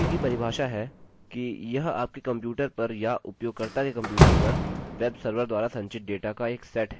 cookie की परिभाषा है कि यह आपके कंप्यूटर पर या उपयोगकर्ता के कंप्यूटर पर वेबसर्वर द्वारा संचित डेटा का एक सेट है